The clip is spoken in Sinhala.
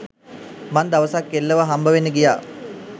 මං දවසක් කෙල්ලව හම්බවෙන්න ගියා.